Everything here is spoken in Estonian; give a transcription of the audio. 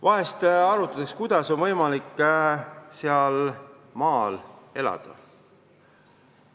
Vahel arutatakse, kuidas ikkagi on võimalik maal elada.